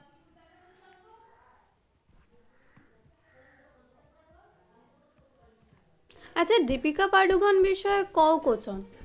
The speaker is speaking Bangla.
আচ্ছা দীপিকা পাড়ুকন বিষয়ে কোয় কথন,